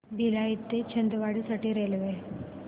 भिलाई ते छिंदवाडा साठी रेल्वे